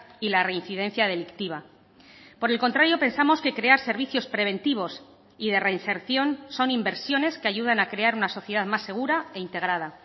y la reincidencia delictiva por el contrario pensamos que crear servicios preventivos y de reinserción son inversiones que ayudan a crear una sociedad más segura e integrada